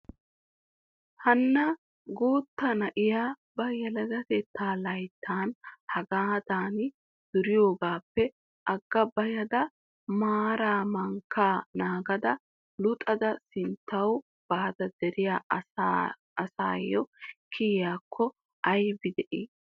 hanna guutta na'iyaa ba yelegetetta laytta hagaadan duriyoogappe agga bayada maaraa mankka naagada luxada sinttaw baada deriyaa ayssiyaa kiyiyyakko aybbi de'i!